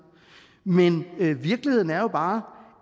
men virkeligheden er jo bare